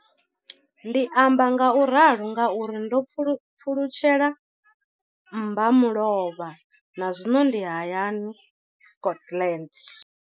Ndi amba ngauralo nga uri ndo pfulutshela mmba mulovha na zwino ndi hayani, Scotland.